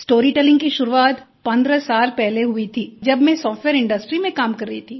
storytelling की शुरुआत 15 साल पहले हुई थी जब मैं सॉफ्टवेयर इंडस्ट्री में काम कर रही थी